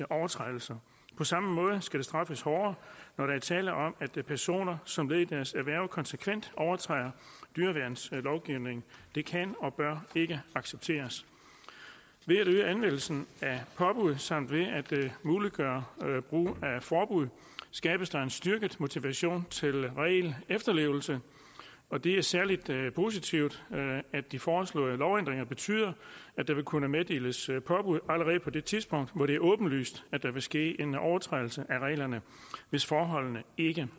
overtrædelser på samme måde skal det straffes hårdere når der er tale om at personer som led i deres erhverv konsekvent overtræder dyreværnslovgivningen det kan og bør ikke accepteres ved at øge anvendelsen af påbud samt ved at muliggøre brugen af forbud skabes der en styrket motivation til regelefterlevelse og det er særlig positivt at de foreslåede lovændringer betyder at der vil kunne meddeles påbud allerede på det tidspunkt hvor det er åbenlyst at der vil ske en overtrædelse af reglerne hvis forholdene ikke